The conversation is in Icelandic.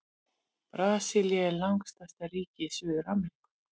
Brasilía er langstærsta ríki í Suður-Ameríku.